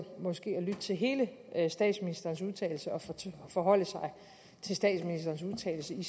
lytte til hele statsministerens udtalelse og forholde sig til statsministerens udtalelse i